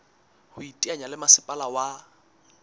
ho iteanya le masepala wa